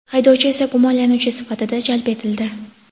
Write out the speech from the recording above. haydovchi esa gumonlanuvchi sifatida jalb etildi.